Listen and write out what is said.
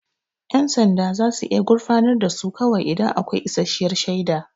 Yan sanda za su iya gurfanar da su kawai idan akwai isasshiyar shaida.